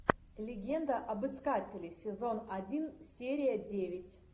легенда об искателе сезон один серия девять